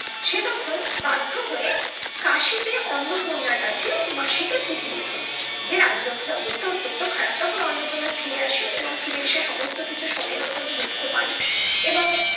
বাধ্য হয়ে কাশিতে অন্নপূর্ণার কাছে মাসিকে চিঠি লেখে যে রাজলক্ষির অবস্থা অতন্ত খারাপ তখন অন্নপূর্ণা ফিরে আসে এবং ফিরে এসে সমস্ত কিছু শোনেন অতন্ত দুঃখ পান এবং